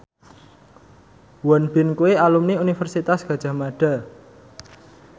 Won Bin kuwi alumni Universitas Gadjah Mada